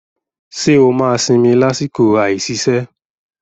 Ṣé o máa sinmi lásìkò àìsiṣẹ́?